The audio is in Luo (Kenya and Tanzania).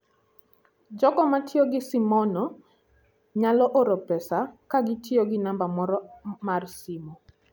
Jogo matiyo gi simono nyalo oro pesa ka gitiyo gi namba moro mar simo.